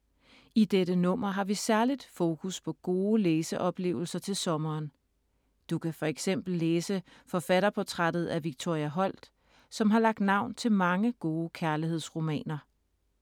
I dette nummer har vi særligt fokus på gode læseoplevelser til sommeren. Du kan for eksempel læse forfatterportrættet af Victoria Holt, som har lagt navn til mange gode kærlighedsromaner.